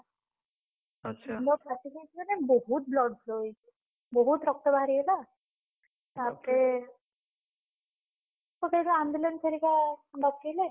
ମୁଣ୍ଡ ଫାଟି ଯାଇଛି ମାନେ ବହୁତ୍ blood flow ହେଇଛି ବହୁତ୍ ରକ୍ତ ବାହାରିଗଲା। ତାପରେ ତ ସେଇଠୁ ambulance ହରିକା ଡାକିଲେ।